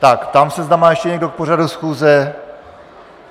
Tak, ptám se, zda má ještě někdo k pořadu schůze...